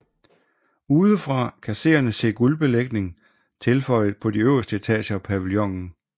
Udefra kan seerne se guldbelægning tilføjet på de øverste etager af pavillonen